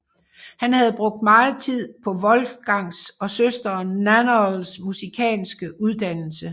Han havde brugt meget tid på Wolfgangs og søsteren Nannerls musikalske uddannelse